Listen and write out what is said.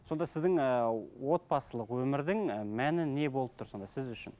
сонда сіздің ііі отбасылық өмірдің і мәні не болып тұр сонда сіз үшін